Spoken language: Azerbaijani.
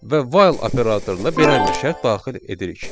Və while operatoruna belə bir şərt daxil edirik: